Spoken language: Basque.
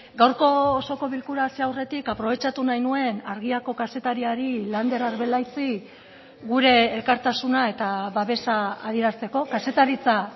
gaurko osoko bilkura hasi aurretik aprobetxatu nahi nuen argiako kazetariari lander arbelaitzi gure elkartasuna eta babesa adierazteko kazetaritza